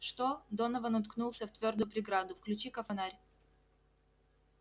что донован уткнулся в твёрдую преграду включи-ка фонарь